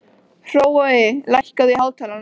Hrói, lækkaðu í hátalaranum.